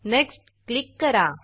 next next click करा